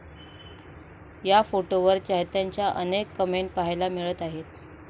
या फोटोवर चाहत्यांच्या अनेक कमेंट पाहायला मिळत आहेत.